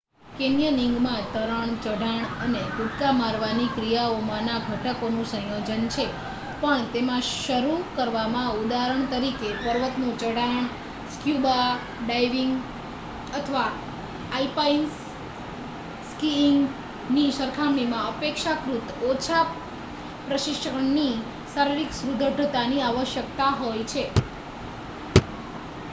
કૅન્યનિંગમાં તરણ ચઢાણ અને કૂદકા મારવાની ક્રિયાઓમાંના ઘટકોનું સંયોજન છે--પણ તેમાં શરૂ કરવામાં ઉદાહરણ તરીકે પર્વતનું ચઢાણ સ્ક્યુબા ડાઇવિંગ અથવા આલ્પાઇન સ્કીઇંગની સરખામણીમાં અપેક્ષાકૃત ઓછા પ્રશિક્ષણની કે શારીરિક સુદૃઢતાની આવશ્યકતા હોય છે